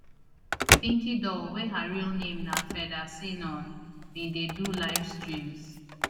pinkydoll wey her real name na fedha sinon bin dey do live streams